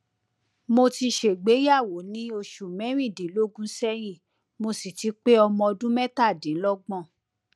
mo ti ṣègbéyàwó ní oṣù mẹrin dín lógún sẹyìn mo sì ti pé pé ọmọ ọdún mẹtàdínlọgbọn